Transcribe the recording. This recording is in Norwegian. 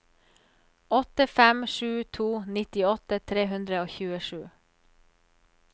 åtte fem sju to nittiåtte tre hundre og tjuesju